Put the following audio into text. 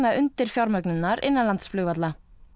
undirfjármögnun innanlandsflugvalla